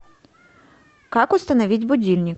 как установить будильник